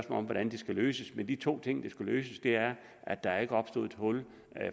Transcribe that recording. om hvordan det skal løses men de to ting der skulle løses er at der ikke opstod et hul